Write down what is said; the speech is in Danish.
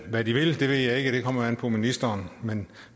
hvad de vil ved jeg ikke det kommer jo an på ministeren men